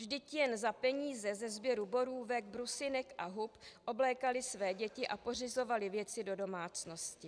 Vždyť jen za peníze ze sběru borůvek, brusinek a hub oblékaly své děti a pořizovaly věci do domácnosti.